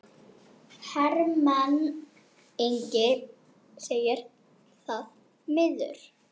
Hermann Ingi segir það miður.